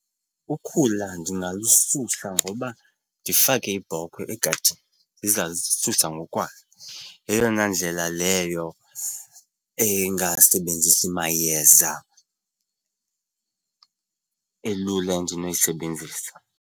Ukhula ndingalususa ngoba ndifake iibhokhwe egadini, iza zisusa ngokwayo. Yeyona ndlela leyo engasebenzisi mayeza elula endinoyisebenzisa.